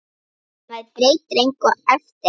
Maður breytir engu eftir á.